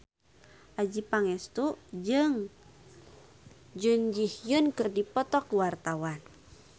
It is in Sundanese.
Adjie Pangestu jeung Jun Ji Hyun keur dipoto ku wartawan